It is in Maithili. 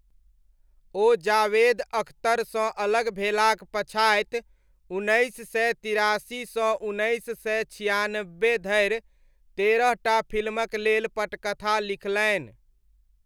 ओ जावेद अख्तरसँ अलग भेलाक पछाति उन्नैस सय तिरासीसँ उन्नैस सय छियानब्बे धरि तेरह टा फिल्मक लेल पटकथा लिखलनि।